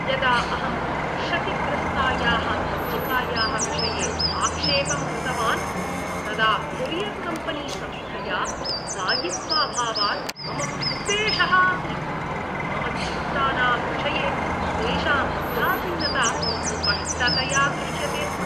यदा अहं क्षतिग्रस्तायाः सञ्चिकायाः विषये आक्षेपं कृतवान् तदा कोरियर्कम्पनीसंस्थया दायित्वाभावात् मम विद्वेषः आसीत्। मम चिन्तानां विषये तेषां उदासीनता स्पष्टतया दृश्यते स्म।